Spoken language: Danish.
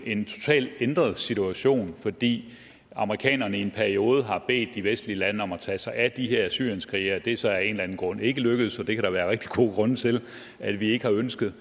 en totalt ændret situation fordi amerikanerne i en periode har bedt de vestlige lande om at tage sig af de her syrienskrigere det er så af en eller anden grund ikke lykkedes og det kan der være rigtig gode grunde til at vi ikke har ønsket